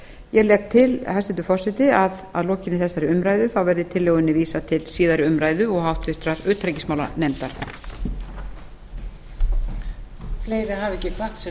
ég legg til hæstvirtur forseti að lokinni þessari umræðu verði tillögunni vísað til síðari umræðu og háttvirtrar utanríkismálanefndar